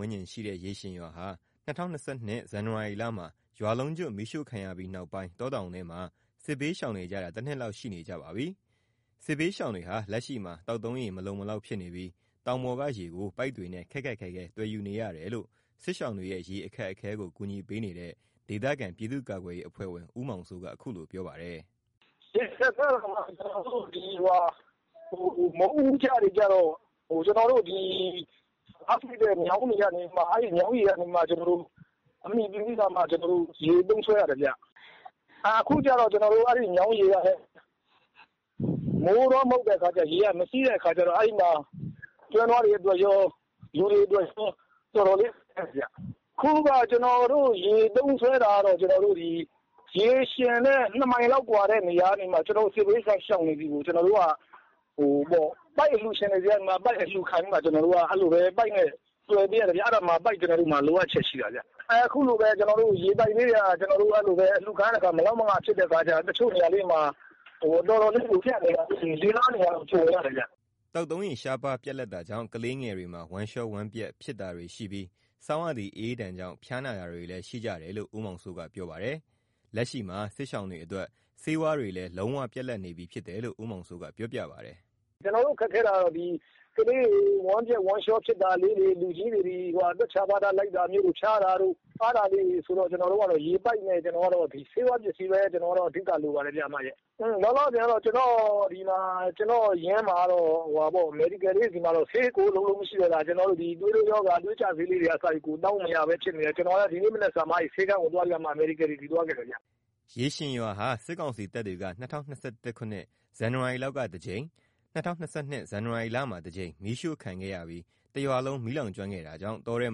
န်းကျင်ရှိတဲ့ ရေရှင်ရွာ ဟာ ၂၀၂၂ ဇန်နဝါရီလမှာ ရွာလုံးကျွတ် မီးရှို့ခံရပြီးနောက်ပိုင်း တောတောင်ထဲမှာ စစ်ဘေးရှောင်နေကြရတာ တနှစ်လောက် ရှိနေကြပါပြီ။ စစ်ဘေးရှောင်တွေဟာ လက်ရှိမှာ သောက်သုံးရေ မလုံလောက်ဖြစ်နေပြီး တောင်ပေါ်က ရေကို ပိုက်တွေနဲ့ ခက်ခက်ခဲခဲ သွယ်ယူနေရတယ်လို့ စစ်ရှောင်တွေရဲ့ ရေအခက်အခဲကို ကူညီပေးနေတဲ့ ဒေသခံ ပြည်သူ့ကာကွယ်ရေး PDF အဖွဲ့ဝင် ဦးမောင်စိုးက ခုလိုပြောပါတယ်။ "ရေအခက်အခဲကတော့ မိုးဦးကျတွေကျတော့ ကျွန်တော်တို့ မြောင်းတွေကနေမှ ကျွန်တော်တို့ အမှီပြုပြီးတော့မှ ကျွန်တော်တို့ သုံးစွဲရတယ်ဗျ။ အခုကျတော့ အဲ့ဒီမြောင်းရေကလဲ မိုးတွင်းမဟုတ်တဲ့ခါကျတော့ ရေကမစီးတဲ့ခါကျတော့ အဲ့ဒီမှာ ကျွဲနွားတွေအတွက်ရော လူတွေအတွက်ရော တော်တော်ကို ခက်သွားတာဗျ။ ခုက ကျွန်တော်တို့ရေသုံးစွဲတာကတော့ ကျွန်တော်တို့ ဒီရေရှင်နဲ့ ၂ မိုင်လောက် ကွာတဲ့နေရာကနေမှ ဒီစစ်ဘေးရှောင်တွေဆီကို ကျွန်တော်တို့က ပိုက်အလှုရှင်တွေနဲ့ ပိုက်အလှုခံပြီးတော့မှ ကျွနတော်တို့က ပိုက်နဲ့သွယ်ပေးရတယ်ဗျ။ အဲ့ဒီမှာ ပိုက်လိုအပ်ချက်ရှိတာဗျ။ အခုလို ကျွန်တော်တို့ ပိုက်တွေ အလှုခံရတဲ့အခါမှာ မလောက်မငှ ဖြစ်တယ်၊ တချို့နေရာလေးတွေမှာ တော်တော်လေး ရေပြတ်နေတာ၊ ၄ ၊ ၅ နေရာလောက်ကျန်နေသေးတယ်ဗျ။" သောက်သုံးရေ ရှားပါးပြတ်လပ်တာကြောင့် ကလေးငယ်တွေမှာ ဝမ်းလျောဝမ်းပျက် ဖြစ်တာတွေရှိပြီး ဆောင်းရာသီ အအေးဒဏ်ကြောင့် ဖျားနာတာတွေလည်း ရှိကြတယ်လို့ ဦးမောင်စိုးက ပြောပါတယ်။ လက်ရှိမှာ စစ်ရှောင်တွေအတွက် ဆေးဝါးတွေလည်း လုံးဝ ပြတ်လပ်နေပြီ ဖြစ်တယ်လို့ ဦးမောင်စိုးက ပြောပြပါတယ်။ "ကျွန်တော်တို့ အခက်အခဲ ဖြစ်တာကတော့ ကလေးတွေ ဝမ်းပျက် ဝမ်းလျောဖြစ်တာလေးတွေ၊ လူကြီးတွေ သွက်ချာပါဒ လိုက်တာတို့၊ ဖျားတာတို့ အဲ့ဒါမျိုးလေးတွေရှိတယ်။ ကျွန်တော်တို့ကတော့ ရေပိုက်နဲ့ ဆေးဝါးပစ္စည်းပဲ အဓိက လိုပါတယ်ဗျ။ လောလောဆယ်ကတော့ ကျွန်တော့ရင်း(တပ်ရင်း)မှာ medical လေးတွေမှာ ဆေးကိုလုံးလုံး မရှိတော့တာ။ သွေးတိုးရောဂါ၊ သွေးကျဆေးလးတွေကိုက တောင်းမရဘဲဖြစ်နေတယ်။ ကျွန်တော် ဒီမနက်ကမှ ဆေးခန်းကိုသွားခဲ့တာဗျ။" ရေရှင်ရွာဟာ စစ်ကောင်စီတပ်တွေက ၂၀၂၁ ခုနှစ် ဇွန်လလောက်ကတစ်ကြိမ်၊ ၂၀၂၂ ဇန်နဝါရီလမှာ တစ်ကြိမ် မီးရှို့ခံခဲ့ရပြီး တရွာလုံး မီးလောင်ကျွမ်းခဲ့တာကြောင့် တောထဲ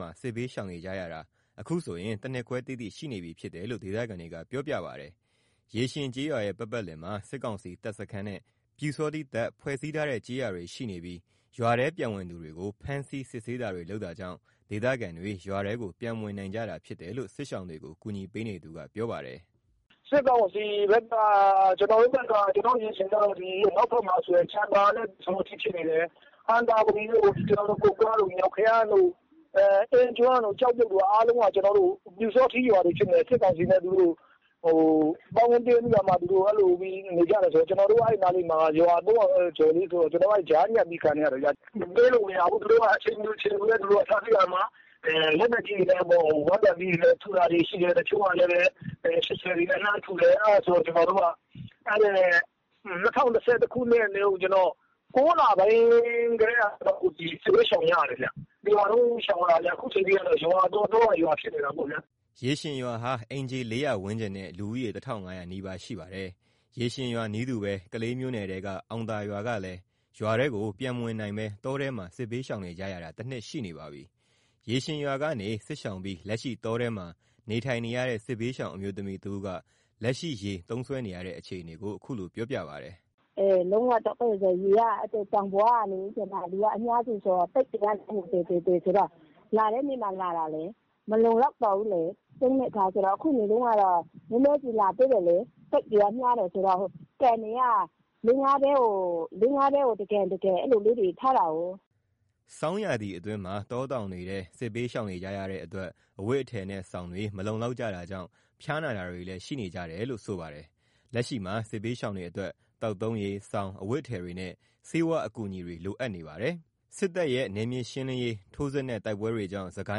မှာ စစ်ဘေးရှောင်နေကြရတာ ခုဆိုရင် ၁ နှစ်ခွဲ တိတိ ရှိနေပြီဖြစ်တယ်လို့ ဒေသခံတွေက ပြောပြပါတယ်။ ရေရှင်ကျေးရွာရဲ့ပတ်ပတ်လည်မှာ စစ်ကောင်စီ တပ်စခန်းနဲ့ ပျူစောထီးတပ်ဖွဲ့စည်းထားတဲ့ကျေးရွာတွေရှိနေပြီး၊ ရွာထဲ ပြန်ဝင်သူတွေကို ဖမ်းဆီး စစ်ဆေးတာတွေ လုပ်တာကြောင့် ဒေသခံတွေ ရွာထဲကို ပြန်မဝင်နိုင်ကြတာဖြစ်တယ်လို့ စစ်ရှောင်တွေကိုကူညီပေးနေသူက ပြောပါတယ်။ "စစ်ကောင်စီဖက် ကျွန်တော်တို့ ရေရှင်ကိုဆိုရင် နောက်ဖက်မှာ ဆိုရင် ပျူရွာတွေပေါ့၊ ဟံသာဝတီတို့ ကုက္ကားတို့ စသည်ဖြင့် ရွာတွေအားလုံးက ပျူစောထီးရွာတွေ ဖြစ်နေတယ်။ စစ်ကောင်စီနဲ့ ပေါင်းသင်းပြီးတော့ သူတို့က အဲ့လိုနေကျတဲ့ ရွာတွေ ဆိုတဲ့ခါကျတော့ ကျွန်တော်တို့ရွာက ကြားထဲကခံနေရတယ်ဗျ။ ဝင်လို့မရဘူး သူတို့က အချိန်မရွေးဖမ်းဆီးတာ၊ ရွာကို လက်နက်ကြီးတွေနဲ့ ထုတာတွေ၊ရှိတယ်။ အဲ့ဒါနဲ့ ကျွန်တော်တို့ ၂၀၂၁ ၊၉ လပိုင်းကတည်းက စစ်ဘေးရှောင်နေရပါတယ်ဗျ။ တစ်ရွာလုံး ရှောင်နေကြရတာဆိုတော့ ခုအချိန်ကတော့ ရွာတော၊ တောက ရွာဖြစ်နေရတာပေါ့။" ရေရှင်ရွာဟာ အိမ်ခြေ ၄၀၀ ဝန်းကျင်နဲ့ လူဦးရေ ၁၅၀၀ နီးပါးရှိပါတယ်။ ရေရှင်ရွာနည်းတူပဲ ကလေးမြို့နယ်ထဲက အောင်သာရွာကလည်း ရွာထဲကို ပြန်မဝင်နိုင်ဘဲ တောထဲမှာ စစ်ဘေးရှောင်နေကြရတာ တစ်နှစ် ရှိနေပါပြီ။ ရေရှင်ရွာကနေ စစ်ရှောင်ပြီး လက်ရှိ တောထဲမှာ နေထိုင်နေရတဲ့ စစ်ဘေးရှောင်အမျိုးသမီး တစ်ဦးက လက်ရှိရေသုံးစွဲနေရတဲ့ အခြေအနေကို ခုလိုပြောပြပါတယ်။ "လုံးဝ ဒုက္ခရောက်တာ၊ ရေကတောင်ပေါ်ကလေ ဒီက အများစုဆိုတော့ တစ်ဆင့် တစိဆင်ဆိုတော့ လာတဲ့နေ့မှ လာတာလေ၊ မလုံလောက်တော့ဘူးလေ သုံးတဲ့ခါကျတော့။ ခုက ကျမတို့ဆီက နည်းနည်းလာသေးတယ်။ လူတွေသ သိပ်ပြီးတော့ များတယ်ဆိုတော့ ကန်တွေက ၄၊ ၅ တဲကို တစ်ကန်၊ တစ်ကန် အဲ့လိုလေးတွေ ထားတာကိုး။" ဆောင်းရာသီအတွင်းမှာ တောတောင်တွေထဲ စစ်ဘေးရှောင်နေကြရတဲ့အတွက် အဝတ်အထည်နဲ့ စောင်တွေ မလုံလောက်ကြတာကြောင့် ဖျားနာတာတွေလည်း ရှိနေကြတယ်လို့ ဆိုပါတယ်။ လက်ရှိမှာ စစ်ဘေးရှောင်တွေအတွက် သောက်သုံးရေ၊ စောင်၊ အဝတ်အထည်တွေနဲ့ ဆေးဝါးအကူအညီတွေ လိုအပ်နေပါတယ်။ စစ်တပ်ရဲ့ နယ်မြေရှင်းလင်းရေး ထိုးစစ်နဲ့ တိုက်ပွဲတွေကြောင့် စစ်ကို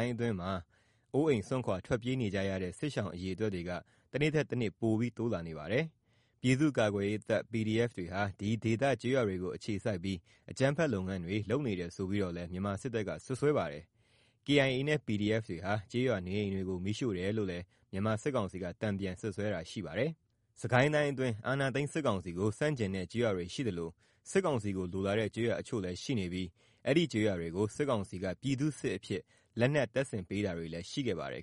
င်းအတွင်းမှာ အိုးအိမ် စွန့်ခွာ ထွက်ပြေးနေကြရတဲ့ စစ်ရှောင် အရေ အတွက်တွေက တနေ့ထက်တနေ့ ပိုပြီးတိုးလာနေပါတယ်။ ပြည်သူ့ ကာကွယ်ရေးတပ် PDF တွေဟာ ဒီဒေသ ကျေးရွာတွေကို အခြေစိုက်ပြီး အကြမ်းဖက် လုပ်ငန်းတွေ လုပ်နေတယ်ဆိုပြီးတော့လည်း မြန်မာစစ်တပ်က စွပ်စွဲပါတယ်။ KIA နဲ့ PDF တွေဟာ ကျေးရွာနေအိမ်တွေကို မီးရှို့တယ်လို့လည်း မြန်မာစစ်ကောင်စီက တန်ပြန်စွပ်စွဲတာရှိပါတယ်။ စစ်ကိုင်းတိုင်းအတွင်း အာဏာသိမ်းစစ်ကောင်စီကို ဆန့်ကျင်တဲ့ကျေးရွာတွေရှိသလို၊ စစ်ကောင်စီကိုလိုလားတဲ့ ကျေးရွာတချို့လည်းရှိနေပြီး အဲဒီကျေးရွာတွေကို စစ်ကောင်စီက ပြည်သူ့စစ်အဖြစ် လက်နက်တပ်ဆင်ပေးတာတွေလည်းရှိခဲ့ပါတယ်